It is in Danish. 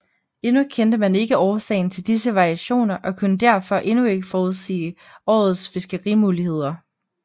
Endnu kendte man ikke årsagen til disse variationer og kunne derfor endnu ikke forudsige årets fiskerimuligheder